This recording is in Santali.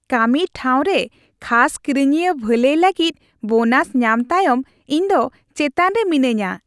ᱠᱟᱹᱢᱤ ᱴᱷᱟᱶᱨᱮ ᱠᱷᱟᱥ ᱠᱤᱨᱤᱧᱤᱭᱟᱹ ᱵᱷᱟᱹᱞᱟᱹᱭ ᱞᱟᱹᱜᱤᱫ ᱵᱳᱱᱟᱥ ᱧᱟᱢ ᱛᱟᱭᱚᱢ ᱤᱧᱫᱚ ᱪᱮᱛᱟᱱ ᱨᱮ ᱢᱤᱱᱟᱹᱧᱟ ᱾